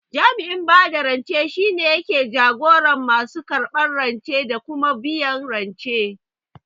Jami'in bada rance shine yake jagoran masu karɓan rance da kuma biyan rance